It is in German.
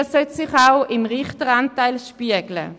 Das sollte sich auch im Richteramt spiegeln.